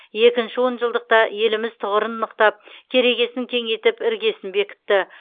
екінші он жылдықта еліміз тұғырын нықтап керегесін кеңейтіп іргесін бекітті